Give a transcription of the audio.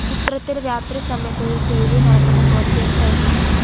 ചിത്രത്തിൽ രാത്രി സമയത്ത് ഒരു തെരുവിൽ നടക്കുന്ന ഘോഷയാത്രയായി കാണ --